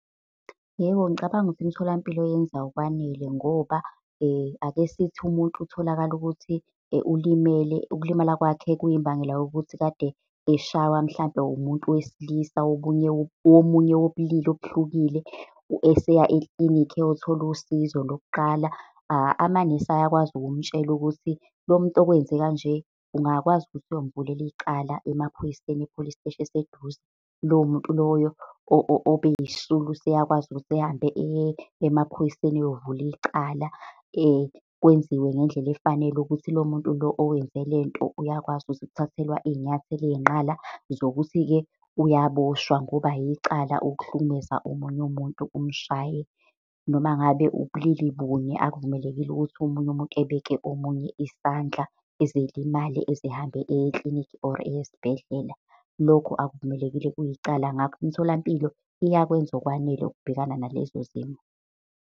Yebo, ngicabanga ukuthi imtholampilo yenza okwanele ngoba akesithi umuntu utholakale ukuthi ulimele, ukulimala kwakhe kuyimbangela yokuthi kade eshawa mhlampe umuntu wesilisa omunye wobulili obuhlukile. Eseya ekilinikhi eyothola usizo lokuqala. Amanesi ayakwazi ukumutshela ukuthi lo muntu okwenze kanje, ungakwazi ukuthi uyomuvulela icala emaphoyiseni, e-police steshi eseduze. Lowo muntu loyo obe yisisulu useyakwazi ukuthi ahambe eye emaphoyiseni eyovula icala. Kwenziwe ngendlela efanele ukuthi lo muntu lo owenze lento uyakwazi ukuthi ukuthathelwe iy'nyathelo ey'nqala zokuthi-ke uyaboshwa, ngoba yicala ukuhlukumeza omunye umuntu, umshaye. Noma ngabe ubulili bunye, akuvumelekile ukuthi omunye umuntu ebeke omunye isandla eze elimale, eze ehambe eye eklinikhi or eye esibhedlela. Lokho akuvumelekile kuyicala. Ngakho imitholampilo iyakwenza okwanele ukubhekana nalezo zimo.